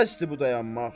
Bəsdir bu dayanmaq.